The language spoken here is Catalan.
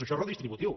això és redistributiu